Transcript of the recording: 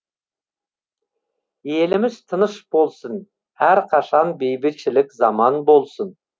еліміз тыныш болсын әрқашан бейбітшілік заман болсын